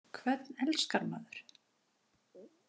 Hvern elskar maður?